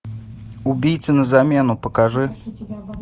убийца на замену покажи